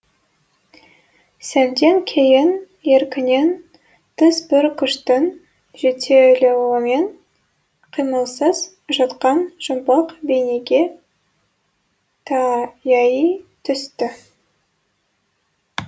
сәлден кейін еркінен тыс бір күштің жетелеуімен қимылсыз жатқан жұмбақ бейнеге таяий түсті